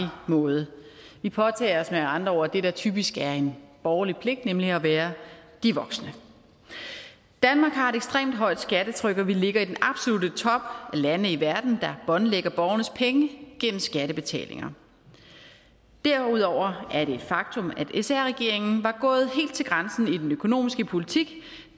måde vi påtager os med andre ord det der typisk er en borgerlig pligt nemlig at være de voksne danmark har et ekstremt højt skattetryk og vi ligger i den absolutte top af lande i verden der båndlægger borgernes penge gennem skattebetalinger derudover er det et faktum at sr regeringen var gået helt til grænsen i den økonomiske politik